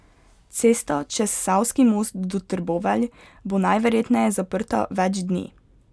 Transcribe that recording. Cesta čez savski most do Trbovelj bo najverjetneje zaprta več dni.